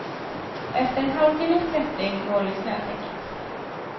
Efter en halvtimmes klättring når vi snötäcket.